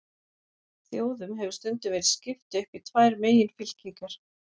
Þjóðum hefur stundum verið skipt upp í tvær meginfylkingar.